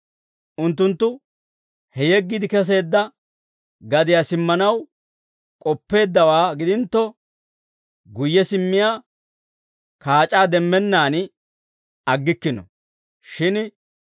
Unttunttu he yeggiide kesseedda gadiyaa simmanaw k'oppeeddawaa gidintto, guyye simmiyaa kaac'aa demmennaan aggikkino; shin